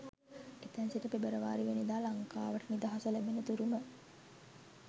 එතැන් සිට පෙබරවාරි වැනිදා ලංකාවට නිදහස ලැබෙන තුරුම